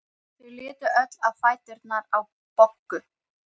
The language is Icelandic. Folda, hvenær kemur fimman?